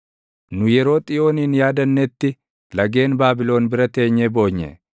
Nu yeroo Xiyoonin yaadannetti, lageen Baabilon bira teenyee boonye.